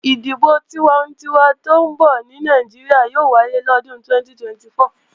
Ìdìbò tiwantinwa tó ń bọ̀ ní Nàìjíríà yóò wáyé lọ́dún 2024